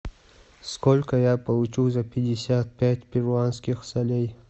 сколько я получу за пятьдесят пять перуанских солей